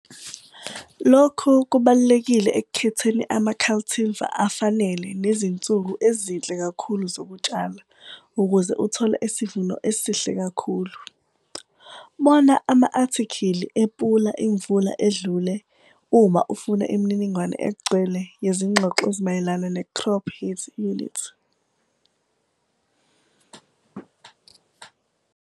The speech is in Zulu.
Loku kubalulekile ekukhetheni ama-cultivar afanele nezinsuku ezinhle kakhulu zokutshala ukuze uthole isivuno esihle kakhulu. Bona ama-athikhili ePula Imvula edlule uma ufuna imininingwane egcwele yezigxoxo ezimayelana ne-crop heat units.